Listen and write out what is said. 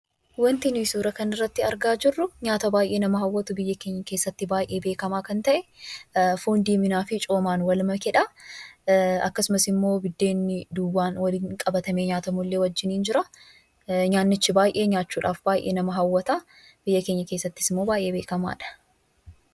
Wanti nuyi suuraa kanarratti argaa jirru suuraa baay'ee nama hawwatu biyya keenya keessatti baay'ee beekamaa ta'e foon diiminaa fi coomaan wal makedha. Akkasumas immoo buddeenni duwwaan waliin qabatamee nyaatamullee waliin jira. Nyaatichi nyaachuudhaaf baay'ee nama hawwata. Biyya keenya keessattis immoo baay'ee beekamaadha.